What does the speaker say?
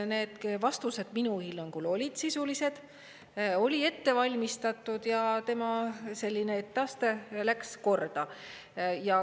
Need vastused minu hinnangul olid sisulised, oli ette valmistatud ja tema selline etteaste läks korda.